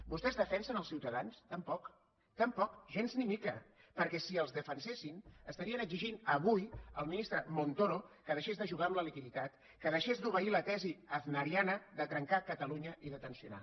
vostès defensen els ciutadans tampoc tampoc gens ni mica perquè si els defensessin estarien exigint avui al ministre montoro que deixés de jugar amb la liquiditat que deixés d’obeir la tesi aznariana de trencar catalunya i de tensionar